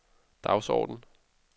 dagsorden